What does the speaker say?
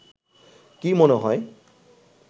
কি মনে হয়